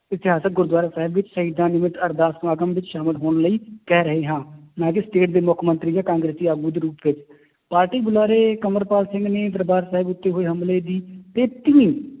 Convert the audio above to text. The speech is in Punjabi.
ਇਤਿਹਾਸਕ ਗੁਰੂਦੁਆਰਾ ਸਾਹਿਬ ਵਿੱਚ ਸ਼ਹੀਦਾਂ ਨਿਮਤ ਅਰਦਾਸ ਸਮਾਗਮ ਵਿੱਚ ਸ਼ਾਮਿਲ ਹੋਣ ਲਈ ਕਹਿ ਰਹੇ ਹਾਂ ਨਾ ਕਿ state ਦੇ ਮੁੱਖ ਮੰਤਰੀ ਜਾਂ ਕਾਂਗਰਸੀ ਆਗੂ ਦੇ ਰੂਪ ਵਿੱਚ, ਪਾਰਟੀ ਬੁਲਾਰੇ ਅੰਮ੍ਰਿਤਪਾਲ ਸਿੰਘ ਨੇ ਦਰਬਾਰ ਸਾਹਿਬ ਵਿੱਚ ਹੋਏ ਹਮਲੇ ਦੀ